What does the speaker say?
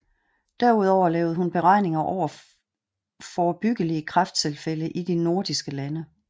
Derudover lavede hun beregninger over forebyggelige kræfttilfælde i de Nordiske lande